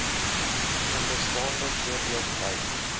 onderstaande voorbeeld lyk